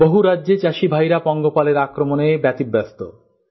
বহু রাজ্যে চাষী ভাইরা পঙ্গপালের আক্রমণে ব্যতিব্যাস্ত